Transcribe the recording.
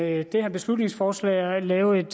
med det her beslutningsforslag at lave et